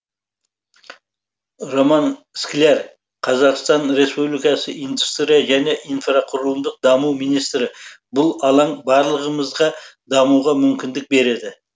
роман скляр қазақстан республикасы индустрия және инфрақұрылымдық даму министрі бұл алаң барлығымызға дамуға мүмкіндік береді